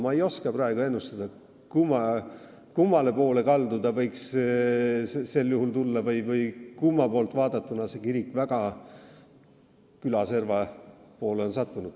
Ma ei oska praegu ennustada, kummale poole kaldu see võiks sel juhul olla või kumma poolt vaadatuna see kirik on praegu väga küla serva poole sattunud.